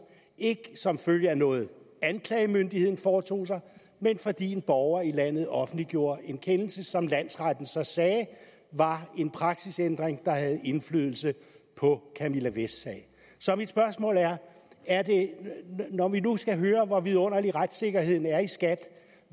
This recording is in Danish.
ikke som følge af noget anklagemyndigheden foretog sig men fordi en borger i landet offentliggjorde en kendelse som landsretten så sagde var en praksisændring der havde indflydelse på camilla vests sag så mit spørgsmål er når vi nu skal høre hvor vidunderlig retssikkerheden er i skat